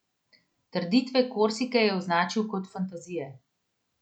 Trditve Korsike je označil kot fantazije.